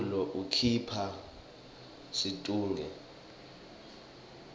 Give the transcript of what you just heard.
umculo ukhipha situnge